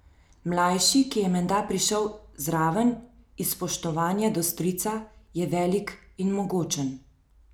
Mlajši, ki je menda prišel zraven iz spoštovanja do strica, je velik in mogočen.